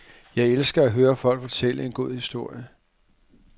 Jeg elsker at høre folk fortælle en god historie.